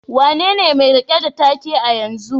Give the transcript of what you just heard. Wanene mai rike da take a yanzu?